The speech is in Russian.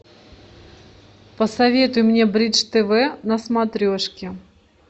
посоветуй мне бридж тв на смотрешке